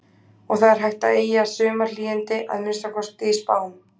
Og það er hægt að eygja sumarhlýindi, að minnsta kosti í spám.